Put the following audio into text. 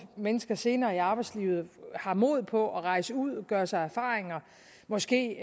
mennesker senere i arbejdslivet har mod på at rejse ud og gøre sig erfaringer måske